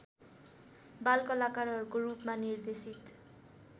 बालकलाकारको रूपमा निर्देशित